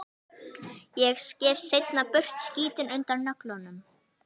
Ég skef seinna burt skítinn undan nöglunum.